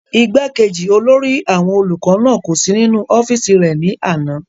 igbákejì olórí àwọn olùkọ́ náà kò sí nínú ọ́fìsì rẹ̀ ní àná